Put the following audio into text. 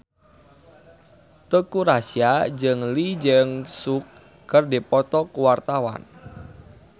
Teuku Rassya jeung Lee Jeong Suk keur dipoto ku wartawan